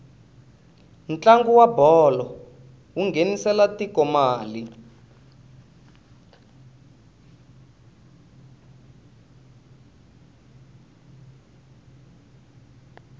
ntlangu wa bolo wu nghenisela tiko mali